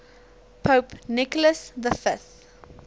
pope nicholas v